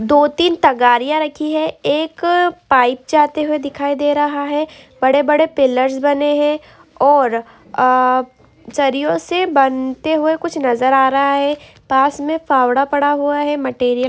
दो टीन टगारिया रखी है एक पाइप जाते हुए दिखाई दे रहा है बड़े बड़े पिलर्स बने है और आह झरियों से बनते हुए कुछ नजर आ रहा है पास में पावडा पडा हुआ है मैटेरियल --